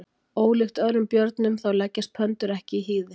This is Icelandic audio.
Ólíkt öðrum björnum þá leggjast pöndur ekki í hýði.